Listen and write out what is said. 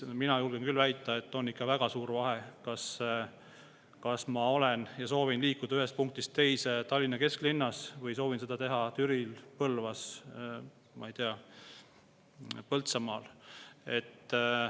Mina julgen küll väita, et on ikka väga suur vahe, kas ma soovin liikuda ühest punktist teise Tallinna kesklinnas või soovin seda teha Türil, Põlvas või, ma ei tea, Põltsamaal.